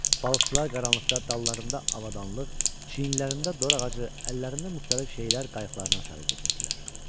Balıqçılar qaranlıqda dallarında avadanlıq, çiyinlərində dor ağacı, əllərində müxtəlif şeylər qayıqlarına sarı gedirdilər.